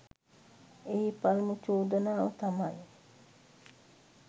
එහි පළමු චෝදනාව තමයි